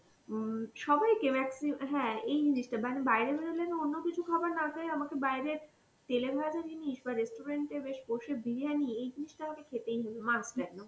উম সবাইকে maxi~ হ্যাঁ এই জিনিসটা মানে বাইরে বেরোলে না অন্য কিছু খাবার না খাই আমাকে বাইরে তেলেভাজা জিনিস বা রেস্টুরেন্টে বেশ বসে বিরিয়ানি এই জিনিসটা আমাকে খেতেই হবে must একদম